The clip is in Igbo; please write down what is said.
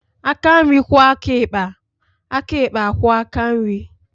Aka nri kwuo aka ịkpa, aka ikpa a kwuo aka nri